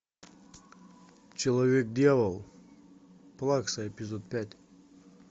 человек дьявол плакса эпизод пять